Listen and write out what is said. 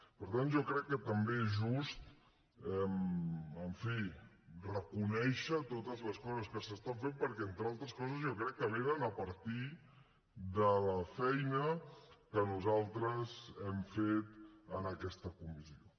per tant jo crec que també és just en fi reconèixer totes les coses que es fan perquè entre altres coses jo crec que venen a partir de la feina que nosaltres hem fet en aquesta comissió